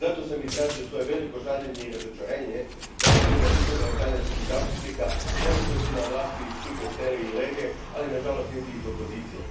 Zato sam izrazio svoje veliko žaljenje i razočarenje da ovdje nema nikoga od talijanskih zastupnika, onih koji su na vlasti iz Cinque Stelle i Lege, ali na žalost niti iz opozicije.